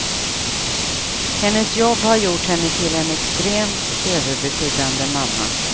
Hennes jobb har gjort henne till en extremt överbeskyddande mamma.